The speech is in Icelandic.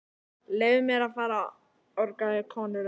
Leyfið mér að fara orgaði konurödd.